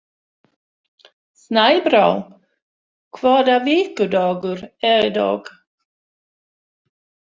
Snæbrá, hvaða vikudagur er í dag?